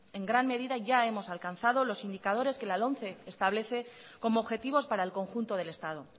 en gran medida ya hemos alcanzado los indicadores que la lomce establece como objetivos para el conjunto del estado